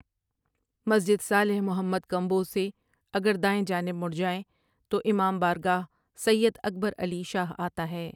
مسجد صالح محمد کمبوہ سے اگر دائیں جانب مڑ جائے تو امام بارگارہ سید اکبر علی شاہ آتا ہے ۔